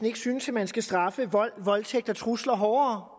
ikke synes at man skal straffe vold voldtægt og trusler hårdere